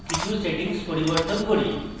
এখন কিছু সেটিংস পরিবর্তন করি